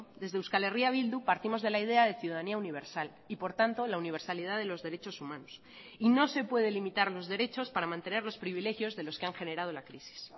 desde euskal herria bildu partimos de la idea de ciudadanía universal y por tanto la universalidad de los derechos humanos y no se puede limitar los derechos para mantener los privilegios de los que han generado la crisis